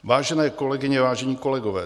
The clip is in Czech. Vážené kolegyně, vážení kolegové.